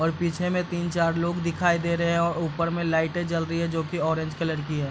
और पीछे में तीन चार लोग दिखाई दे रहे है और ऊपर में लाइटे जल रही है जो की ऑरेंज कलर की हैं।